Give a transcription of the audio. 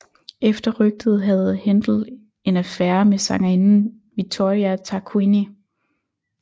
Efter rygtet havde Händel en affære med sangerinden Vittoria Tarquini